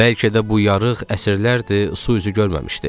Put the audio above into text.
Bəlkə də bu yarıq əsrlərdir su üzü görməmişdi.